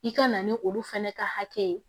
I ka na ni olu fɛnɛ ka hakɛ ye